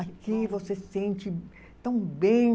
Aqui você sente tão bem.